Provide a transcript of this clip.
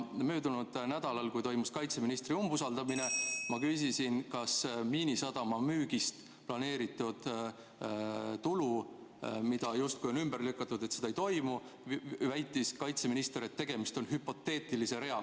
Möödunud nädalal, kui toimus kaitseministri umbusaldamine ja ma küsisin Miinisadama müügist planeeritud tulu kohta – see müük on justkui ümber lükatud, seda ei toimu –, väitis kaitseminister, et tegemist on hüpoteetilise reaga.